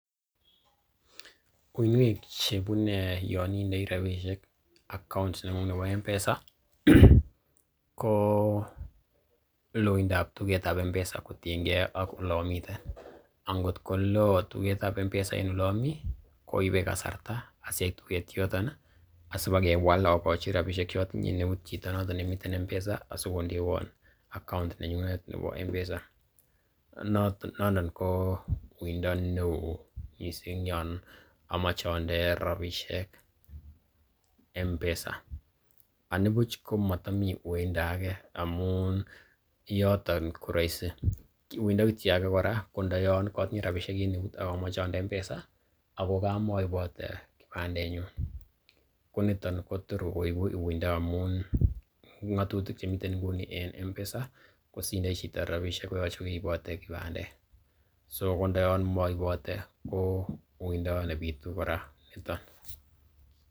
Uinwek che ibunei yon indei rabishek account neng'ung nebo M-Pesa ko loindab tuget ab M-Pesa kotienge ak ole amiten. Angot ko loo tuget ab M-Pesa en ole omi ko ibe kasarta asiait tuget yoton asibakewal ogochi rabishek che otinye en eut chito noton nemiten M-Pesa asikondewon account nenyunet nebo M-Pesa. Nondon kouindo neo mising yon omoche onde rabishek M-Pesa anibuch ko motomi uiindo age amun yoton ko roisi. Uindo kityo age ko ndoyon kotinye rabishek en eut ak omoche onde M-Pesa ago kamoibote kipandenyun koniton kotor koigu uindo amun ng'atutik chemiten nguni en M-Pesa kosindoi chito rabishek koyoche kogeibote kipandet. So kondoyon moibote ko uindo nebitu kora niton.